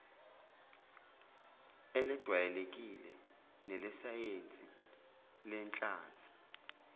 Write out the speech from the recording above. elejwayelekile nelesayensi lenhlanzi